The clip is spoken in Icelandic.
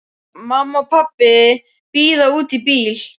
Mamma og pabbi bíða úti í bíl.